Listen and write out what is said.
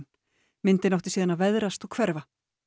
myndin átti síðan að veðrast og hverfa